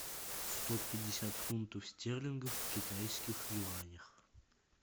сто пятьдесят фунтов стерлингов в китайских юанях